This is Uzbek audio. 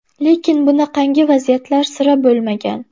Lekin bunaqangi vaziyatlar sira bo‘lmagan.